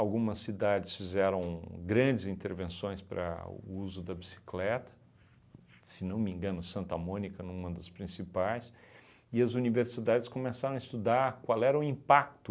Algumas cidades fizeram grandes intervenções para o uso da bicicleta, se não me engano Santa Mônica, numa das principais, e as universidades começaram a estudar qual era o impacto